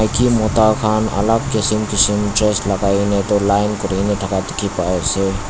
maiki mota khan alak kisim kisim dress lagai na itu line kurina thaka dikhi pai ase.